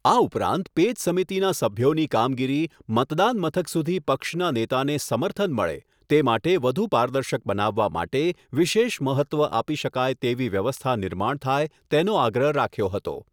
આ ઉપરાંત પેજ સમિતિના સભ્યોની કામગીરી, મતદાન મથક સુધી પક્ષના નેતાને સમર્થન મળે, તે માટે વધુ પારદર્શક બનાવવા માટે વિશેષ મહત્ત્વ આપી શકાય તેવી વ્યવસ્થા નિર્માણ થાય, તેનો આગ્રહ રાખ્યો હતો